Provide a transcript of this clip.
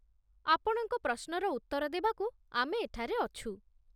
ଆପଣଙ୍କ ପ୍ରଶ୍ନର ଉତ୍ତର ଦେବାକୁ ଆମେ ଏଠାରେ ଅଛୁ।